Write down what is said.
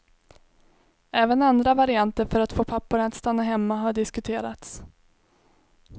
Även andra varianter för att få papporna att stanna hemma har diskuterats.